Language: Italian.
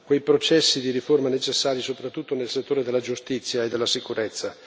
i processi di riforme necessari, soprattutto nel settore della giustizia e della sicurezza.